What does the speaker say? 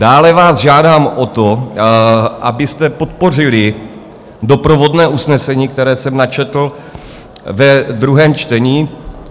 Dále vás žádám o to, abyste podpořili doprovodné usnesení, které jsem načetl ve druhém čtení.